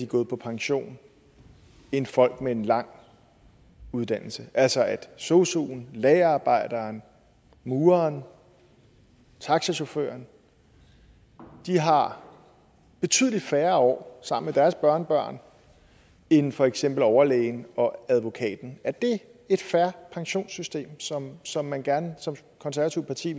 gået pension end folk med en lang uddannelse altså at sosuen lagerarbejderen mureren taxachaufføren har betydelig færre år sammen med deres børnebørn end for eksempel overlægen og advokaten er det et fair pensionssystem som som man som konservativt parti